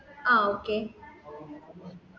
ആ okay